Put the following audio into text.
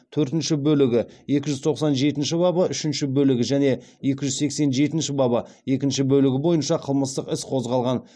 төртінші бөлігі екі жүз тоқсан жетінші бабы үшінші бөлігі және екі жүз сексен жетінші бабы екінші бөлігі бойынша қылмыстық іс қозғалған